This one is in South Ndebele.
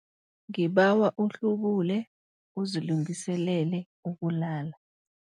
Ngibawa uhlubule uzilungiselele ukulala.